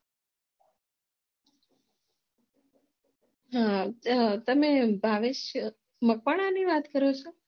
હમ તમે ભાવેશ મકવાણાની વાત કરો છો